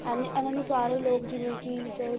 ਇਹਨੇ ਇਹਨਾਂ ਨੂੰ ਸਾਰੇ ਲੋਕ ਜਿਵੇਂ ਕਿ ਚਾਹੇ